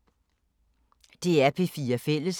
DR P4 Fælles